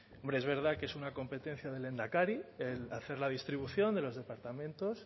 hombre es verdad que es una competencia del lehendakari el hacer la distribución de los departamentos